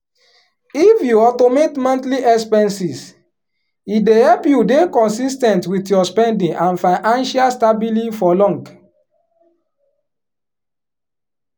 if you automate monthly expenses e dey help you dey consis ten t with your spending and fiancial stabily for long.